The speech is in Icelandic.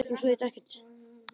Yxu víur